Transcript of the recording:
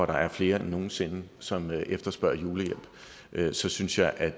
der er flere end nogen sinde som efterspørger julehjælp så synes jeg at